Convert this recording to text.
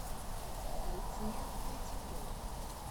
люция третьякова